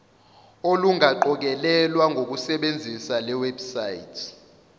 olungaqokelelwa ngokusebenzisa lewebsite